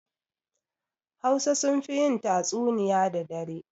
Hausa sunfi yin tatsuniya da dare